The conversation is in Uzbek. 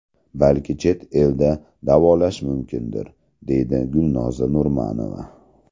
Balki chet elda davolash mumkindir, deydi Gulnoza Nurmanova .